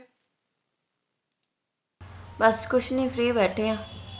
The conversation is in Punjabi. ਬਸ ਕੁਸ਼ ਨੀ free ਬੈਠੇ ਆ